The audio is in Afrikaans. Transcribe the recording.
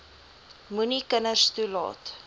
moenie kinders toelaat